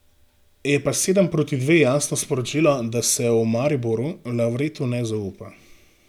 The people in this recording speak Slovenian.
Je pa sedem proti dve jasno sporočilo, da se v Mariboru Lavretu ne zaupa.